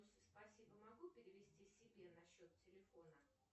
спасибо могу перевести себе на счет телефона